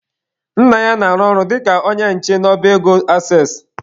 Nna ya na-arụ ọrụ dịka onye nche n'ọba ego Aksess.